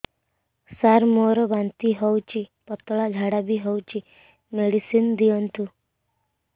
ସାର ମୋର ବାନ୍ତି ହଉଚି ପତଲା ଝାଡା ବି ହଉଚି ମେଡିସିନ ଦିଅନ୍ତୁ